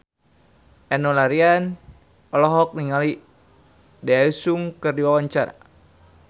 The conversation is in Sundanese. Enno Lerian olohok ningali Daesung keur diwawancara